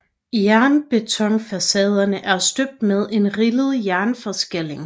Jernbetonfacaderne er støbt med en rillet jernforskalling